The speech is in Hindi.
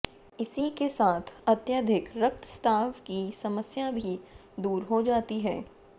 इसी के साथ ही अत्यधिक रक्तस्राव की समस्या भी दूर हो जाती है